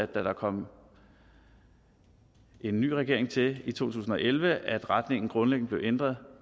der kom en ny regering til i to tusind og elleve at retningen grundlæggende blev ændret